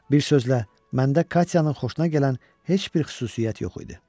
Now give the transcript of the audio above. Bir sözlə, məndə Katyanın xoşuna gələn heç bir xüsusiyyət yox idi.